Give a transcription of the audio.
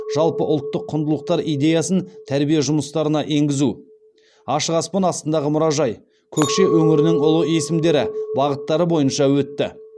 жалпыұлттық құндылықтар идеясын тәрбие жұмыстарына енгізу ашық аспан астындағы мұражай көкше өңірінің ұлы есімдері бағыттары бойынша өтті